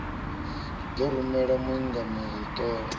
ḓo rumela muingameli u ṱola